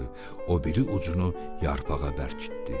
O biri ucunu yarpağa bərkitdi.